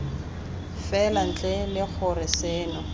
fela ntle le gore seno